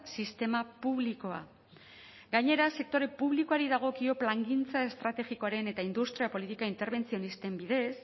sistema publikoa gainera sektore publikoari dagokio plangintza estrategikoaren eta industria politika interbentzionisten bidez